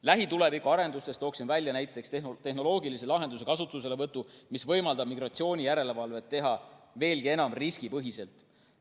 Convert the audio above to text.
Lähituleviku arendustest toon välja näiteks tehnoloogilise lahenduse kasutuselevõtu, mis võimaldab migratsioonijärelevalvet teha veelgi enam riskipõhiselt.